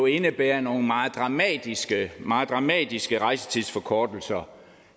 indebærer nogle meget dramatiske meget dramatiske rejsetidsforkortelser